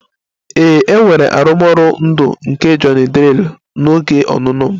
Ee, e nwere arụmọrụ ndụ nke Johnny drille n'oge ọnụnọ m